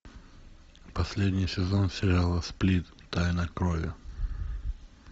последний сезон сериала сплит тайна крови